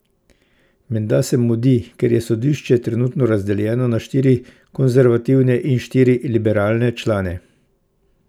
Menda se mudi, ker je sodišče trenutno razdeljeno na štiri konservativne in štiri liberalne člane.